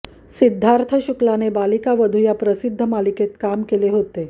सिद्धार्थ शुक्लाने बालिकावधू या प्रसिद्ध मालिकेत काम केले होते